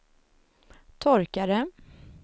torkare